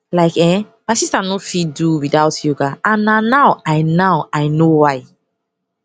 like um my sister nor fit do without yoga and na now i now i know why